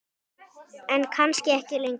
En kannski ekki lengur.